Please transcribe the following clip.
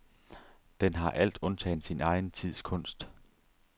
Den har alt undtagen sin egen tids kunst.